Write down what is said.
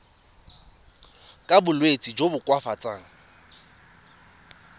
ka bolwetsi jo bo koafatsang